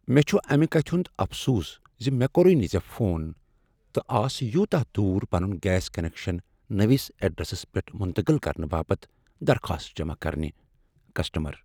مےٚ چُھ اَمِہ کتِھہٕ ہُند افسوس زِ مےٚ کوٚرےنہٕ ژےٚ فون تہٕ آس یوتاہ دوٗر پنُن گیس کینکشن نٔوس ایڈرسس پیٹھ منتقل کرنہٕ باپت درخواست جمع کرنِہ ،کسٹمر